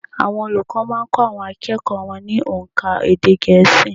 Àwọn olùkọ́ má a n kó àwọn akẹ́kọ̀ọ́ wọn ní ónká èdè gẹ̀ẹ́sì